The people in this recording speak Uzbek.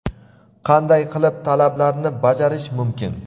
qanday qilib talablarni bajarish mumkin?.